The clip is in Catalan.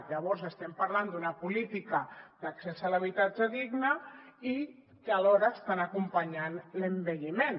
llavors estem parlant d’una política d’accés a l’habitatge digne i que alhora estan acompanyant l’envelliment